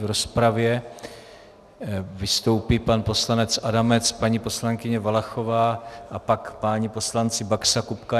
V rozpravě vystoupí pan poslanec Adamec, paní poslankyně Valachová a pak páni poslanci Baxa, Kupka.